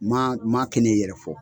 Maa maa kɛ n'e yɛrɛ fɔ.